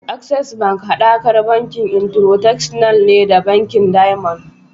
Access bank hadakar bankin Intercontinental ne da bankin Diamond.